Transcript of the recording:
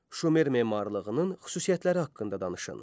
Şumer memarlığının xüsusiyyətləri haqqında danışın.